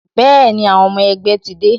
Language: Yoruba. Bẹẹni, àwọn ọmọ ẹgbẹ́ ti dé